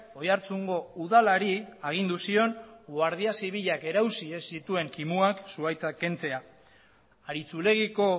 oiartzungo udalari agindu zion guardia zibilak erausi ez zituen kimuak zuhaitza kentzea aritxulegiko